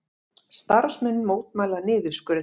Starfsmenn mótmæla niðurskurði